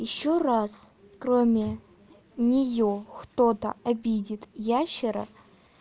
ещё раз кроме нее кто-то обидит ящера